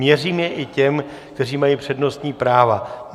Měřím ho i těm, kteří mají přednostní práva.